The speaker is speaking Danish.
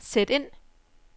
sæt ind